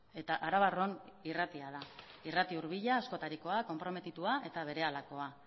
eta arabarron irratia da irrati hurbila askotarikoa konprometitua eta berehalakoa